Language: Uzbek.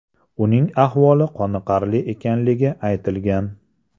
Uning ahvoli qoniqarli ekanligi aytilgan.